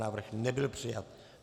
Návrh nebyl přijat.